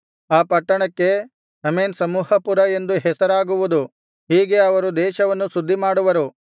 ಆ ಪಟ್ಟಣಕ್ಕೆ ಹಮೇನ್ ಸಮೂಹಪುರ ಎಂದು ಹೆಸರಾಗುವುದು ಹೀಗೆ ಅವರು ದೇಶವನ್ನು ಶುದ್ಧಿಮಾಡುವರು